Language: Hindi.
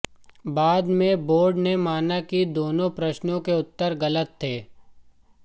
बाद में बोर्ड ने माना कि दोनों प्रश्नों के उत्तर गलत थे